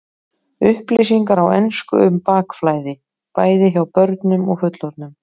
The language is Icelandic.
Upplýsingar á ensku um bakflæði, bæði hjá börnum og fullorðnum.